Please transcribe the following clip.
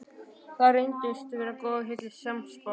Þar reyndist hann góðu heilli sannspár.